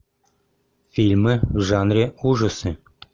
фильмы в жанре ужасы